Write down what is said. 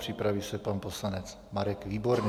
Připraví se pan poslanec Marek Výborný.